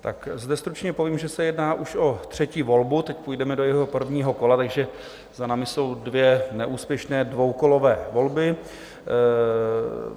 Tak zde stručně povím, že se jedná už o třetí volbu, teď půjdeme do jejího prvního kola, takže za námi jsou dvě neúspěšné dvoukolové volby.